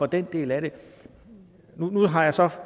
den del af det nu har jeg så